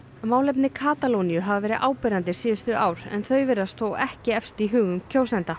málefni Katalóníu hafa verið áberandi síðustu ár en þau virðast þó ekki efst í hugum kjósenda